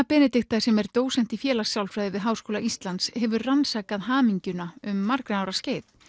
Benedikta sem er dósent í félagssálfræði við Háskóla Íslands hefur rannsakað hamingjuna um margra ára skeið